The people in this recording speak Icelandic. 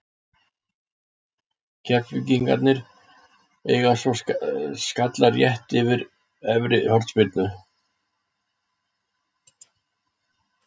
Keflvíkingarnir eiga svo skalla rétt yfir eftir hornspyrnu.